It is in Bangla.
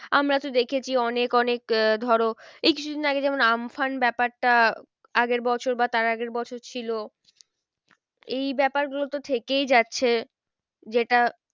আমরা তো দেখেছি অনেক অনেক আহ ধরো এই কিছুদিন আগে যেমন আম্ফান ব্যাপারটা আগের বছর বা তার আগের বছর ছিল এই ব্যাপার গুলো তো থেকেই যাচ্ছে যেটা